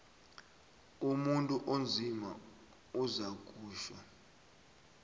umuntu onzima uzakutjho